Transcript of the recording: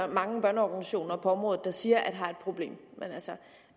mange børneorganisationer på området der siger at der